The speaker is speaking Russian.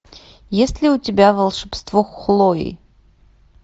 есть ли у тебя волшебство хлои